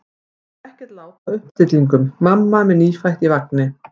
Það er ekkert lát á uppstillingum: mamma með nýfætt í vagni.